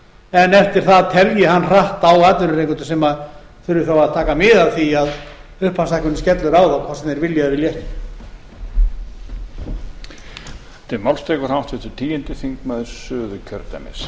en eftir það telji hann hratt á atvinnurekendur sem þurfi þá að taka mið af því að upphafshækkunin skellur á þá hvort sem þeir vilja eða vilja ekki